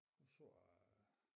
Nu så jeg